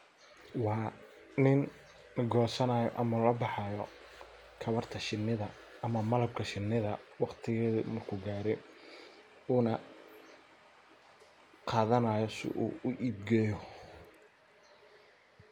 Waa nin gosanayo ama labaxayo tawarta shinisha ama malabka shinidha waqtigedha marku gare Una qadhanayo sidhu uibgeyo